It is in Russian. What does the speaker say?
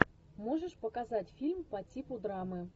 можешь показать фильм по типу драмы